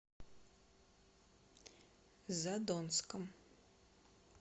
задонском